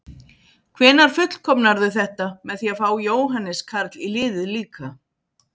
Hvenær fullkomnarðu þetta með því að fá Jóhannes Karl í liðið líka?